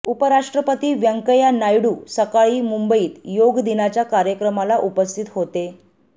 उपराष्ट्रपती व्यंकय्या नायडू सकाळी मुंबईत योग दिनाच्या कार्यक्रमाला उपस्थित होते